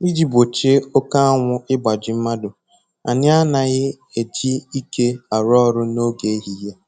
Iji gbochie oke anwụ igbaji mmadụ, anyị anaghị eji ike arụ ọrụ n'oge ehihie